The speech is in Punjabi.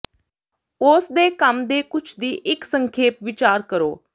ਉਸ ਦੇ ਕੰਮ ਦੇ ਕੁਝ ਦੀ ਇੱਕ ਸੰਖੇਪ ਵਿਚਾਰ ਕਰੋ